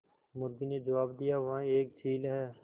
मुर्गी ने जबाब दिया वह एक चील है